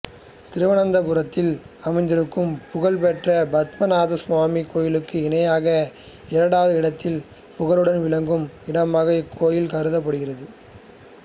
திருவனந்தபுரத்தில் அமைந்திருக்கும் புகழ் பெற்ற பத்மநாபசுவாமி கோவிலுக்கு இணையாக இரண்டாவது இடத்தில் புகழுடன் விளங்கும் இடமாக இந்தக்கோவில் கருதப்படுகிறது